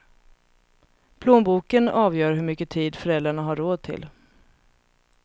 Plånboken avgör hur mycket tid föräldrarna har råd till.